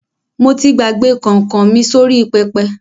Mo ti gbàgbé kọ̀nkọ̀ mi sórí pẹpẹ.